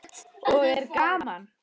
Og er gaman?